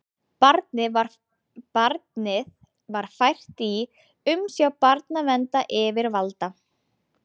Barnið var fært í umsjá barnaverndaryfirvalda